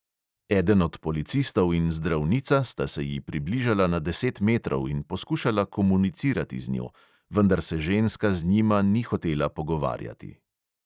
Eden od policistov in zdravnica sta se ji približala na deset metrov in poskušala komunicirati z njo, vendar se ženska z njima ni hotela pogovarjati.